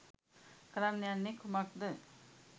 කරන්න යන්නේ කුමක්ද?